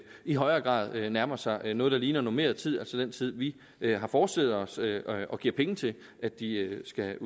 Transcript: i højere grad nærmer sig noget der ligner normeret tid altså den tid vi vi har forestillet os og giver penge til at de skal